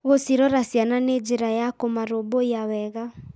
Gũcirora ciana nĩ njĩra ya kũmarũmbũiya wega.